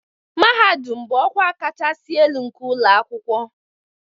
Mahadum bụ ọkwa kachasị elu nke ụlọ akwụkwọ